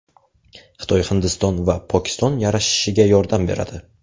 Xitoy Hindiston va Pokiston yarashishiga yordam beradi.